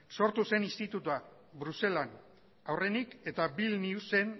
sortu zen institutua bruselan aurrenik eta vilniusen